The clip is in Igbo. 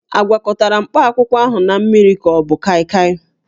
A gwakọtara mkpakwụkwọ ahụ na mmiri ka ọ bụ kaịkaị?